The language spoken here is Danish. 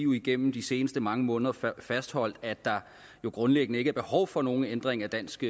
jo igennem de seneste mange måneder fastholdt at der grundlæggende ikke er noget behov for nogen ændring af dansk